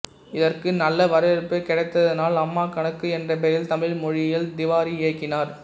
இதற்கு நல்ல வரவேற்பு கிடைத்ததனால் அம்மா கணக்கு என்ற பெயரில் தமிழ் மொழியில் திவாரி இயக்கினார்